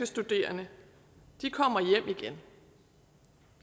studerende kommer hjem igen